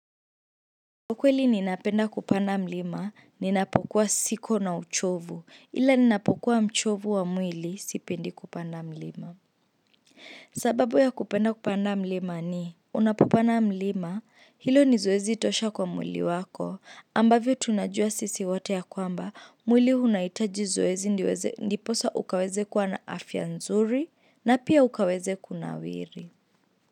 Kwa kweli ninapenda kupanda mlima ninapokuwa siko na uchovu ila ninapokuwa mchovu wa mwili sipendi kupanda mlima sababu ya kupenda kupanda mlima ni unapopanda mlima hilo ni zoezi tosha kwa mwili wako ambavyo tunajua sisi wote ya kwamba mwili unahitaji zoezi ndipo sasa ukaweze kua na afya nzuri na pia ukaweze kunawiri.